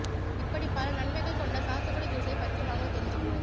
இப்படி பல நன்மைகள் கொண்ட சாத்துக்குடி ஜுஸைப் பற்றி வாங்க தெரிஞ்சுகுவோம்